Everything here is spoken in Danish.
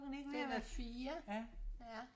den er fire ja